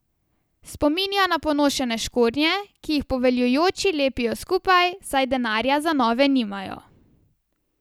Spominja na ponošene škornje, ki jih poveljujoči lepijo skupaj, saj denarja za nove nimajo.